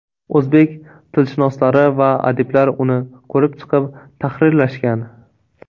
O‘zbek tilshunoslari va adiblar uni ko‘rib chiqib, tahrirlashgan.